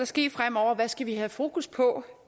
ske fremover hvad skal vi have fokus på